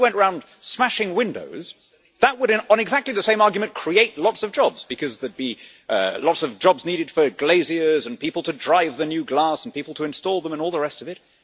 If somebody went round smashing windows, that would on exactly the same argument create lots of jobs, because there would be lots of jobs needed for glaziers, people to drive the new glass, people to install them and all the rest of it